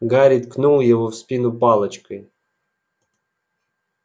гарри ткнул его в спину палочкой